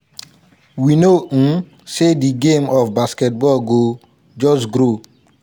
we know um say di game of basketball go just grow."